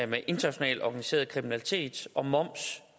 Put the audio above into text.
med internationalt organiseret kriminalitet og moms